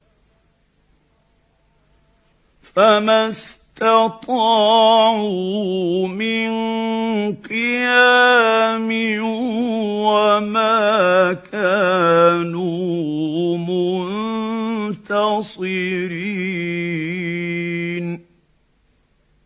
فَمَا اسْتَطَاعُوا مِن قِيَامٍ وَمَا كَانُوا مُنتَصِرِينَ